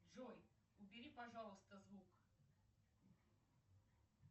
джой убери пожалуйста звук